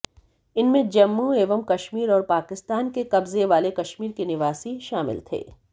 इनमें जम्मू एवं कश्मीर और पाकिस्तान के कब्जे वाले कश्मीर के निवासी शामिल थे